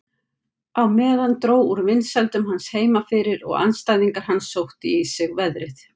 Á meðan dró úr vinsældum hans heima fyrir og andstæðingar hans sóttu í sig veðrið.